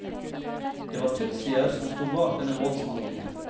Det var tutsier som stod bak denne voldshandlingen.